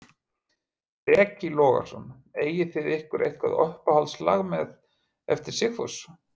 Breki Logason: Eigið þið ykkur eitthvað uppáhalds lag með, eftir Sigfús?